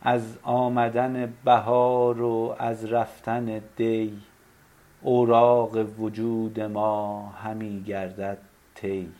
از آمدن بهار و از رفتن دی اوراق وجود ما همی گردد طی